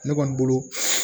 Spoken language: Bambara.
Ne kɔni bolo